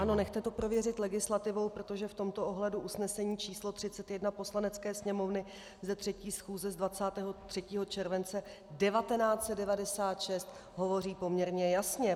Ano, nechte to prověřit legislativou, protože v tomto ohledu usnesení číslo 31 Poslanecké sněmovny ze 3. schůze z 23. července 1996 hovoří poměrně jasně.